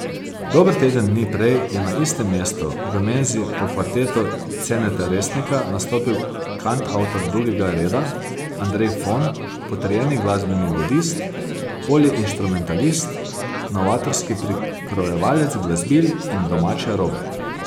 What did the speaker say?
Dober teden dni prej je na istem mestu, v Menzi, po kvartetu Ceneta Resnika nastopil kantavtor drugega reda, Andrej Fon, potrjeni glasbeni ludist, poliinštrumentalist, novatorski prikrojevalec glasbil in domače robe.